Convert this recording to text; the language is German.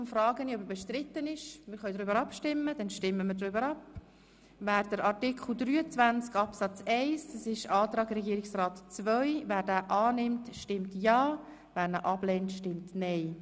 Wer den Antrag zu Artikel 23 Absatz 1 gemäss Antrag Regierungsrat II annimmt, stimmt ja, wer ihn ablehnt, stimmt nein.